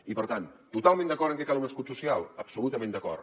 i per tant totalment d’acord en que cal un escut social absolutament d’acord